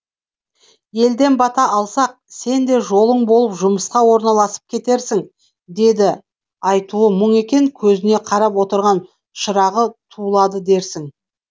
елден бата алсақ сен де жолың болып жұмысқа орналасып кетерсің деді айтуы мұң екен көзіне қарап отырған шырағы тулады дерсің